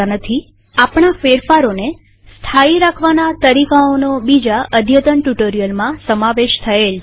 આપણા ફેરફારોને સ્થાયી રાખવાના તરીકાઓનો બીજા અદ્યતન ટ્યુટોરીયલમાં સમાવેશ થયેલ છે